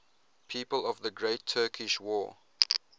people of the great turkish war